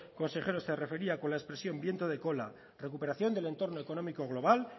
consejero se refería con la expresión viento de cola recuperación del entorno económico global